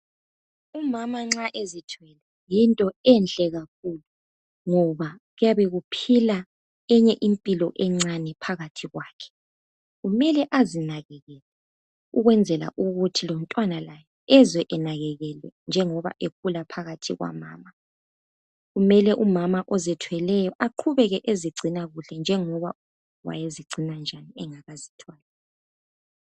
Umama uma ezithwele yinto enhlekakhulu ngoba kuyebe kuphila eyinye impila esiswini sakhe kumele umama ozithweleyo aqubeke ezinakekele njengoba wayenakekela ngakazitwali .